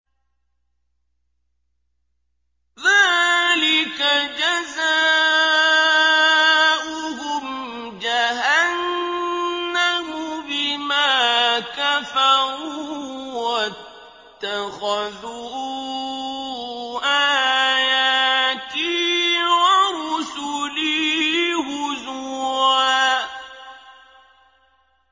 ذَٰلِكَ جَزَاؤُهُمْ جَهَنَّمُ بِمَا كَفَرُوا وَاتَّخَذُوا آيَاتِي وَرُسُلِي هُزُوًا